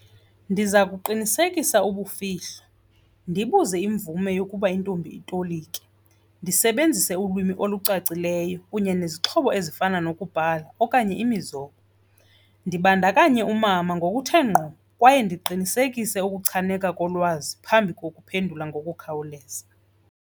Ndiza kuqinisekisa ubufihlo, ndibuze imvume yokuba intombi itolike, ndisebenzise ulwimi olucacileyo kunye nezixhobo ezifana nokubhala okanye imizobo. Ndibandakanya umama ngokuthe ngqo kwaye ndiqinisekise ukuchabaneka kolwazi phambi kukuphendula ngokukhawuleza.